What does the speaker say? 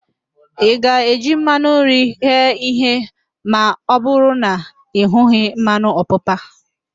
Ị ga-eji mmanụ nri ghee ihe ma ọbụrụ na ị hughị mmanụ ọpapa?